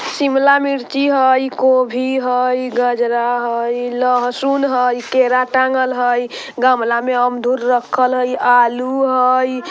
शिमला मिर्ची हई गोभी हई गजरा हई लहसुन हई केला टाँगल हई गमला में अमदुर रखल हई आलू हई।